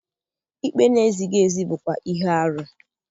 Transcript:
Ikpe na-ezighị ezi bụkwa ihe arụ.